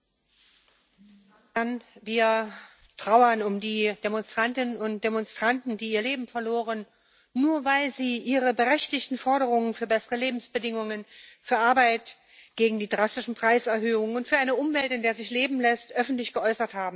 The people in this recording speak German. Frau Präsidentin! Wir trauern um die Demonstrantinnen und Demonstranten, die ihr Leben verloren haben, nur weil sie ihre berechtigten Forderungen für bessere Lebensbedingungen, für Arbeit, gegen die drastischen Preiserhöhungen und für eine Umwelt, in der es sich leben lässt, öffentlich geäußert haben.